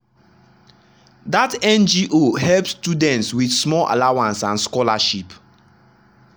that ngo help students with small allowance and scholarship.